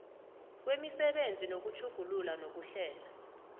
kwemisebenzi yokutjhugulula nokuhlela